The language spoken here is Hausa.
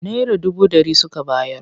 Naira dubu ɗari suka bayar.